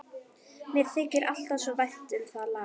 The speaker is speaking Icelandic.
Mér þykir alltaf svo vænt um það lag.